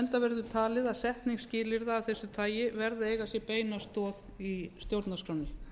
enda verður talið að setning skilyrða af þessu tagi verði að eiga sér beina stoð í stjórnarskránni